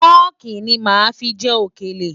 Fọ́ọ̀kì ní màá fi jẹ òkèlè.